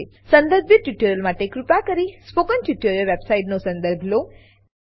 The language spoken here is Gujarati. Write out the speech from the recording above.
સંદર્ભિત ટ્યુટોરીયલો માટે કૃપા કરી સ્પોકન ટ્યુટોરીયલ વેબસાઈટનો સંદર્ભ લો